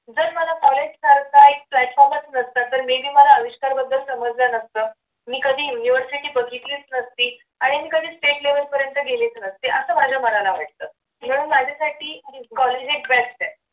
जर मला कॉलेज करिता एक platform नसता तर may be मला अविष्कार बद्दल समजलं असतं मी कधी university बघितलीच नसती आणि मी कधी state level पर्यंत गेलेच नसते असं माझ्या मनाला वाटतं. म्हणून माझ्यासाठी कॉलेज एक best आहे